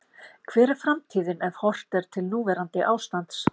Hver er framtíðin ef horft er til núverandi ástands?